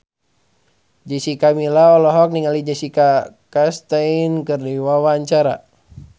Jessica Milla olohok ningali Jessica Chastain keur diwawancara